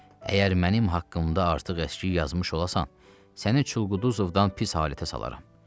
Əgər mənim haqqımda artıq-əskik yazmış olasan, səni Çulquduzovdan pis halətə salaram.